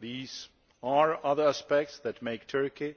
these are other aspects that make Turkey